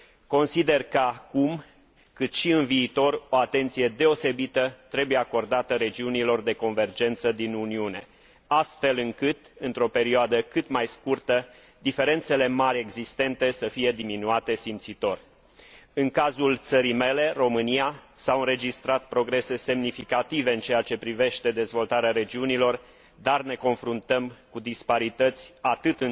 Consider că atât acum, cât și în viitor, o atenție deosebită trebuie acordată regiunilor de convergență din Uniune astfel încât, într o perioadă cât mai scurtă, diferențele mari existente să fie diminuate simțitor. În cazul țării mele, România, s au înregistrat progrese semnificative în ceea ce privește dezvoltarea regiunilor, dar ne confruntăm cu disparități atât